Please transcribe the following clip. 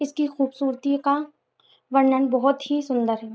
इसकी खूबसूरती का वर्णन बहुत ही सुन्दर है।